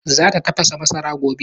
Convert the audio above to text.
Za ta tafasa masara gobe